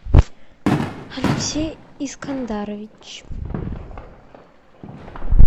алексей искандарович